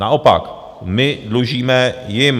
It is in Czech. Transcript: Naopak, my dlužíme jim.